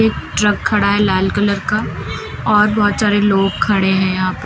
Truck खड़ा है लाल कलर का और बहोत सारे लोग खड़े हैं यहां पर।